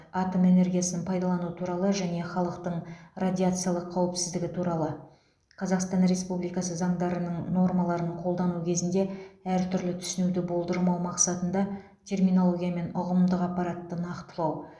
атом энергиясын пайдалану туралы және халықтың радиациялық қауіпсіздігі туралы қазақстан республикасы заңдарының нормаларын қолдану кезінде әртүрлі түсінуді болдырмау мақсатында терминология мен ұғымдық аппаратты нақтылау